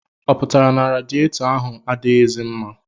Ọ pụtara na radiyetọ ahụ adịghịzi mma?